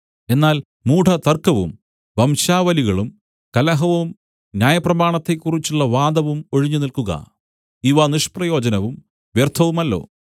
എന്നാൽ മൂഢതർക്കവും വംശാവലികളും കലഹവും ന്യായപ്രമാണത്തെക്കുറിച്ചുള്ള വാദവും ഒഴിഞ്ഞുനിൽക്കുക ഇവ നിഷ്പ്രയോജനവും വ്യർത്ഥവുമല്ലോ